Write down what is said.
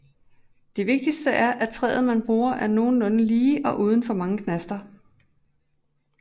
Det vigtigste er at træet man bruger er nogenlunde lige og uden for mange knaster